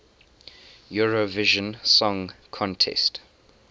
eurovision song contest